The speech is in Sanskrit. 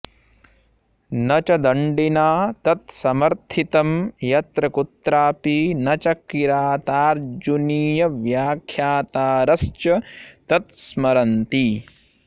न च दण्डिना तत्समर्थितं यत्र कुत्रापि न च किरातार्जुनीयव्याख्यातारश्च तत्स्मरन्ति